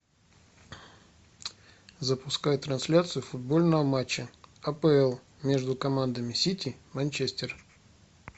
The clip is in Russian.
запускай трансляцию футбольного матча апл между командами сити манчестер